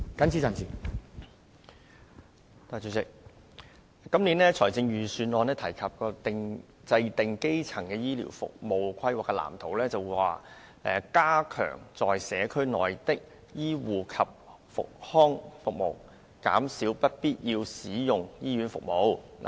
主席，今年的財政預算案提及政府會就基層醫療服務規劃制訂藍圖，"加強在社區內的醫護及復康服務，減少不必要使用醫院服務"。